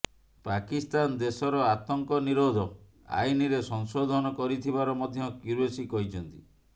ପାକିସ୍ତାନ ଦେଶର ଆତଙ୍କ ନିରୋଧ ଆଇନରେ ସଂଶୋଧନ କରିଥିବାର ମଧ୍ୟ କ୍ୟୁରେସୀ କହିଛନ୍ତି